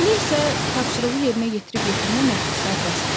Elə isə tapşırığı yerinə yetirib yetirməməkdə sərbəstəm.